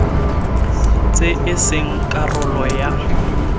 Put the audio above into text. tse e seng karolo ya